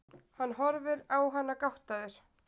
Hann horfir á hana gáttaður.